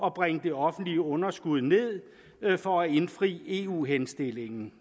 at bringe det offentlige underskud ned for at indfri eu henstillingen